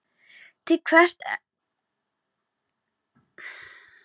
Til hvers ertu að þessu kjaftæði?